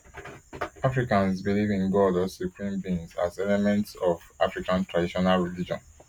africans believe in god or supreme beings as elements of african traditional religion